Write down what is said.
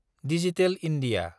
digital India